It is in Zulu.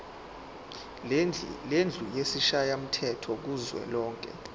lendlu yesishayamthetho kuzwelonke